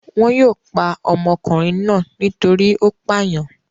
Wọn yóò pa ọmọkùnrin náà nítorí ó pàyàn.